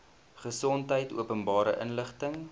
gesondheid openbare inligting